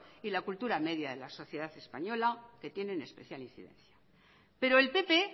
y la cultura media de la sociedad española que tiene especial incidencia pero el pp